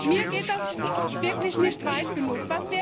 Mit geht das wirklich nicht weit genug.